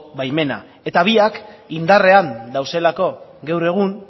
baimena eta biak indarrean daudelako gaur egun